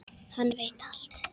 Hann veit allt.